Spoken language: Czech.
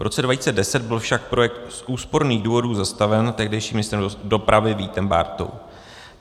V roce 2010 byl však projekt z úsporných důvodů zastaven tehdejším ministrem dopravy Vítem Bártou.